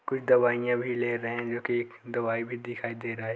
कुछ दवाइयाँ भेजे रहे जो की दवाई भी दिखाई दे रहा है।